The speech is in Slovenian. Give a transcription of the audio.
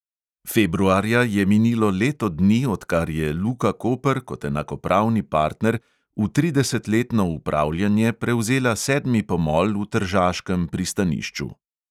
Februarja je minilo leto dni, odkar je luka koper kot enakopravni partner v tridesetletno upravljanje prevzela sedmi pomol v tržaškem pristanišču.